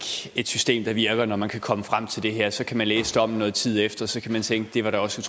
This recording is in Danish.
et system der virker når man kan komme frem til det her så kan man læse dommen nogen tid efter og så kan man tænke det var da også